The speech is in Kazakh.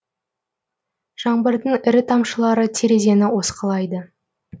жаңбырдың ірі тамшылары терезені осқылайды